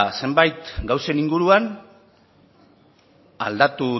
zenbait gauzen inguruan aldatu